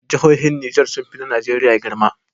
Jahohin niger sunfi na nigeria girma